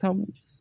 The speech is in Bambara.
Sabu